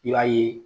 I b'a ye